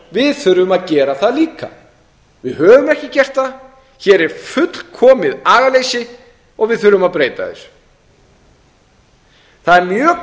stjórnmálamenn þurfum að gera það líka við höfum ekki gert það hér er fullkomið agaleysi og við þurfum að breyta þessu það er mjög